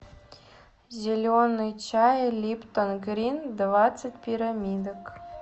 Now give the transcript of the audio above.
зеленый чай липтон грин двадцать пирамидок